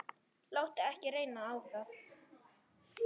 Láttu ekki reyna á það.